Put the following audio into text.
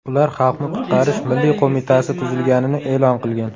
Ular Xalqni qutqarish milliy qo‘mitasi tuzilganini e’lon qilgan.